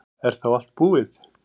Er þá allt búið?